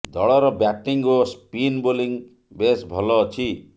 ଦଳର ବ୍ୟାଟିଂ ଓ spin bowling ବେଶ ଭଲ ଅଛି